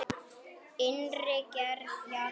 Innri gerð jarðar